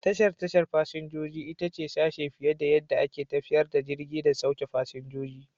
Tashar tashar fasinja ita ce sashe fiye da yadda ake tafiyar da jirgi da sauke fasinjoji.